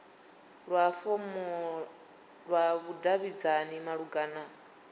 lwa fomla lwa vhudavhidzani malugana